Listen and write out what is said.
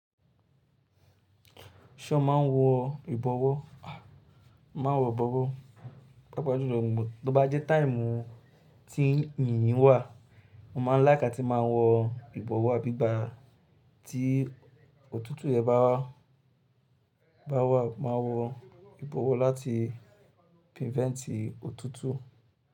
Ṣé ọ máa ń wọ ìbọwọ́? Màá wọ ìbọwọ́, pàápàá ju lọ, tó bá jẹ́ táìmù tí yìnyín wà, mo máa ń láìká atí máa wọ ìbọwọ́ abi igba tí òtútù yẹn bá wá, máa wọ ìbọwọ́ láti prìvéǹtì òtútù.